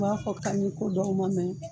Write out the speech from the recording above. U b'a fɔ kaɲi ko dɔgɔ ma mɛn